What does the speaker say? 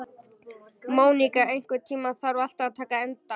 Móníka, einhvern tímann þarf allt að taka enda.